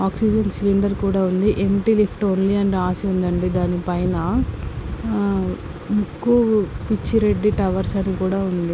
Oxygen cylinder కూడా ఉంది. Empty lift only అని రాసి ఉందండి దాని పైన. ముక్కు పిచ్చి రెడ్డి టవర్స్ అని కూడా ఉంది.